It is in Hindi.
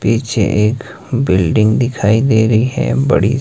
पीछे एक बिल्डिंग दिखाई दे रही है बड़ी।